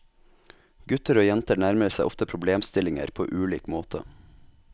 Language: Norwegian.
Gutter og jenter nærmer seg ofte problemstillinger på ulik måte.